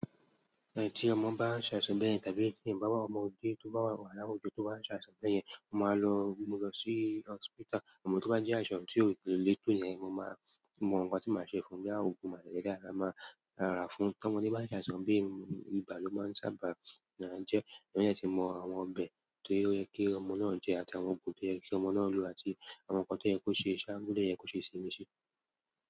Ẹ ti ọmọ bá ṣàṣà bí ẹni tán gẹ́ ìsìn, bá wà ọmọdé tó bá wà láwùjọ tó bá ṣàṣà bẹ́yẹn, mo máa lo òògùn mu lọ sí hospital. A mọ tó bá jẹ́ àṣà tó lè lé tò yẹn, mo máa mọ kan tí màá ṣe fún un. Boyá òògùn màlára lẹ máa rà fún. Ọmọdé bá ń ṣàṣà bí, ibà ló máa ń sáábà máa jẹ́. Wọ́n yẹ kí ẹ mọ àwọn ọbẹ̀ tó yẹ kí ọmọ náà jẹ́, àti àwọn òògùn tó yẹ kí ọmọ náà lo, àti àwọn nǹkan tó yẹ kó ṣe, ṣáá mú tó yẹ kó ṣe sí i.